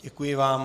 Děkuji vám.